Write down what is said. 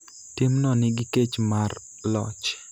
Timno nigi kech mar loch,